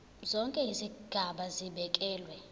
zonke izigaba zibekelwe